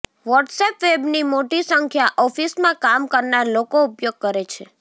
WhatsApp વેબની મોટી સંખ્યા ઑફિસમાં કામ કરનાર લોકો ઉપયોગ કરે છે